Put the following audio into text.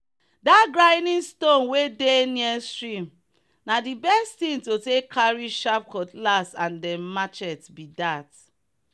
that grinding stone wey dey near stream na the best thing to carry sharp cutlass and dem machets be that.